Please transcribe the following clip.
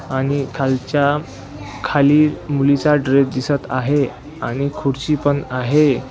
आणि खालच्या खाली मुलीचा ड्रेस दिसत आहे आणि खुर्ची पण आहे.